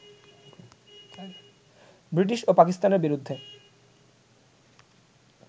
British ও পাকিস্তানের বিরুদ্ধে